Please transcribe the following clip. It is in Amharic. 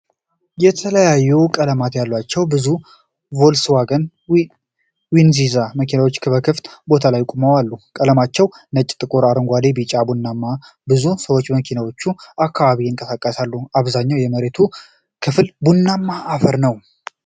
የተለያዩ ቀለማት ያሏቸው ብዙ ቮልስዋገን ጥንዚዛ መኪናዎች በክፍት ቦታ ላይ ቆመው አሉ። ቀለማቸው ነጭ፣ ጥቁር፣ አረንጓዴ፣ ቢጫና ቡናማ ነው። ብዙ ሰዎች በመኪኖቹ አካባቢ ይንቀሳቀሳሉ፤ አብዛኛው የመሬቱ ክፍል ቡናማ አፈር ነው።